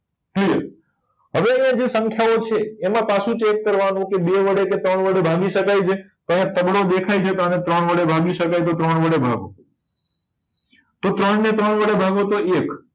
હમ હવે જે સંખ્યા ઓ છે એમાં પાછુ check કરવા નું કે બે વડે કે ત્રણ વડે ભાગી શકાય છે તો અહિયાં તગડો દેખાય છે તો આને ત્રણ વડે ભાગી શકાય છે તો ત્રણ વડે ભાગો તો ત્રણ ને ત્રણ વડે ભાગો તો એક